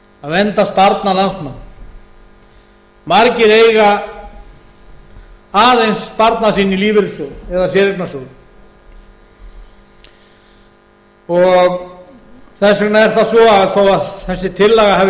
vernda sparnað landsmanna margir eiga aðeins sparnað sinn í lífeyrissjóðum eða séreignarsjóðum þess vegna er það svo að þó þessi tillaga hafi